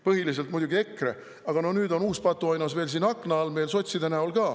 Põhiliselt muidugi EKRE, aga no nüüd on uus patuoinas veel siin akna all meil sotside näol.